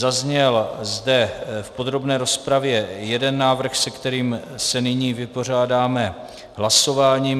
Zazněl zde v podrobné rozpravě jeden návrh, se kterým se nyní vypořádáme hlasováním.